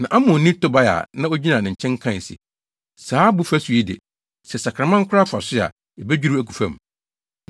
Na Amonni Tobia a na ogyina ne nkyɛn kae se, “Saa abo fasu yi de, sɛ sakraman koraa fa so a, ebedwiriw agu fam!”